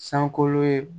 Sankolo ye